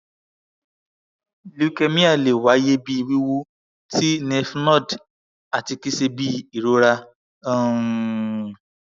leukemia le tun waye bi wiwu ti lymphnode ati kii ṣe bi irora um